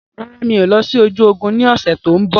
Rárá, mi ò lọ sí ojú ogún ni ọ̀sẹ̀ tòun bọ̀.